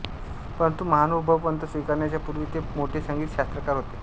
परंतु महानुभाव पंथ स्वीकारण्याच्या पुर्वी ते मोठे संगीत शास्त्रकार होते